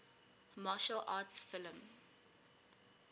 martial arts film